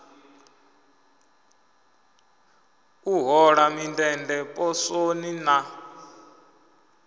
u hola mindende poswoni na